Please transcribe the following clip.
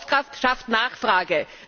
Kaufkraft schafft Nachfrage.